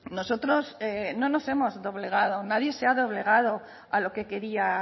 nosotros no nos hemos doblegado nadie se ha doblegado a lo que quería